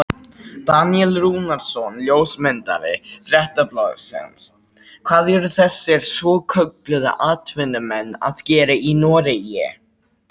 Daníel Rúnarsson ljósmyndari Fréttablaðsins: Hvað eru þessir svokölluðu atvinnumenn að gera í Noregi?